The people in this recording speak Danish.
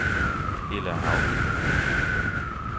Ella Hauge